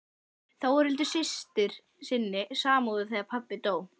Þórhildi systur sinni samúð þegar pabbi dó.